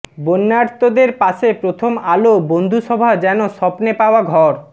বন্যার্তদের পাশে প্রথম আলো বন্ধুসভা যেন স্বপ্নে পাওয়া ঘর